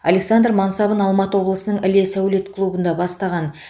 александр мансабын алматы облысының іле сәулет клубында бастаған